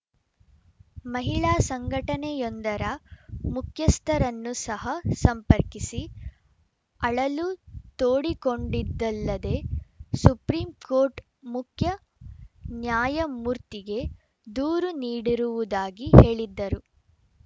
ಮಹಿಳಾ ಸಂಘಟನೆಯೊಂದರ ಮುಖ್ಯಸ್ಥರನ್ನು ಸಹ ಸಂಪರ್ಕಿಸಿ ಅಳಲು ತೋಡಿಕೊಂಡಿದಲ್ಲದೆ ಸುಪ್ರೀಂ ಕೋರ್ಟ್‌ ಮುಖ್ಯ ನ್ಯಾಯಮೂರ್ತಿಗೆ ದೂರು ನೀಡಿರುವುದಾಗಿ ಹೇಳಿದ್ದರು